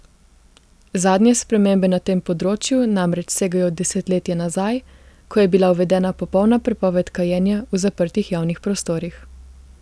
Zadnje spremembe na tem področju namreč segajo desetletje nazaj, ko je bila uvedena popolna prepoved kajenja v zaprtih javnih prostorih.